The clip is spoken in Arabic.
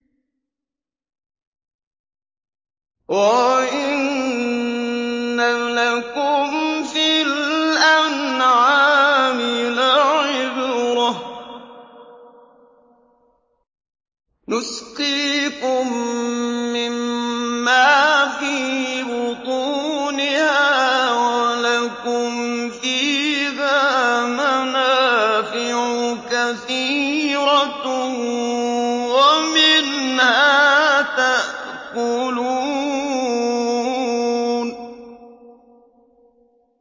وَإِنَّ لَكُمْ فِي الْأَنْعَامِ لَعِبْرَةً ۖ نُّسْقِيكُم مِّمَّا فِي بُطُونِهَا وَلَكُمْ فِيهَا مَنَافِعُ كَثِيرَةٌ وَمِنْهَا تَأْكُلُونَ